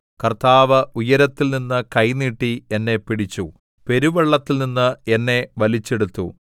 കർത്താവ് ഉയരത്തിൽനിന്ന് കൈ നീട്ടി എന്നെ പിടിച്ചു പെരുവെള്ളത്തിൽനിന്ന് എന്നെ വലിച്ചെടുത്തു